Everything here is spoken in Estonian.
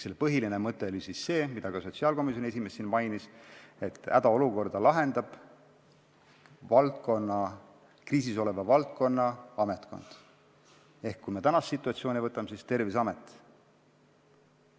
Selle põhiline mõte oli see, mida ka sotsiaalkomisjoni esimees siin mainis, et hädaolukorda lahendab kriisis oleva valdkonna ametkond ehk tänast situatsiooni vaadates on selleks Terviseamet.